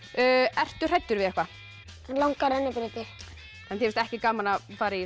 ertu hræddur við eitthvað langar rennibrautir þér finnst ekki gaman að fara í